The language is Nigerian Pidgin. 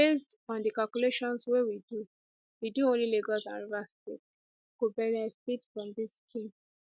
based on di calculations wey we do we do only lagos and rivers states go benefit from dis scheme